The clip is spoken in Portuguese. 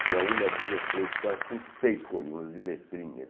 Tinha uma, duas, três, quatro, cinco, seis colunas e letrinhas.